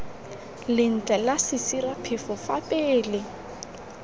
lentle la sesiraphefo fa pele